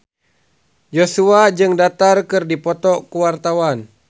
Joshua jeung Dara keur dipoto ku wartawan